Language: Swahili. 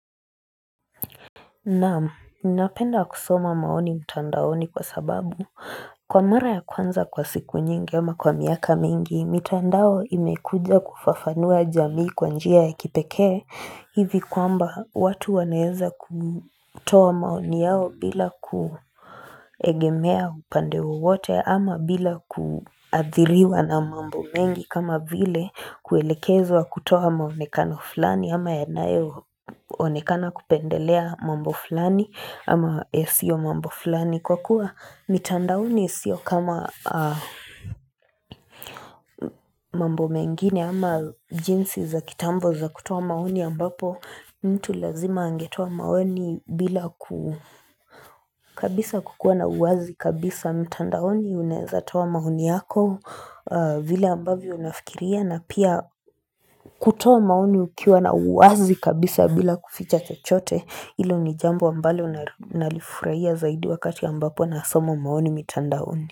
Naam, ninapenda kusoma maoni mtandaoni kwasababu. Kwa mara ya kwanza kwa siku nyingi ama kwa miaka mingi, mitandao imekuja kufafanua jamii kwa njia ya kipekee. Hivi kwamba watu wanaweza kutoa maoni yao bila kuegemea upande wowote ama bila kuathiriwa na mambo mengi kama vile kuelekezwa kutoa muonekano fulani ama ya nayo onekana kupendelea mambo fulani ama yasiyo mambo fulani. Kwakuwa mitandaoni sio kama mambo mengine ama jinsi za kitambo za kutoa maoni ambapo mtu lazima angetoa maoni bila kabisa kuwa na uwazi kabisa mitandaoni unaweza toa maoni yako vile ambavyo unafikiria na pia kutoa maoni ukiwa na uwazi kabisa bila kuficha chochote, ilo ni jambo ambalo nalifurahia zaidi wakati ambapo nasoma maoni mitandaoni.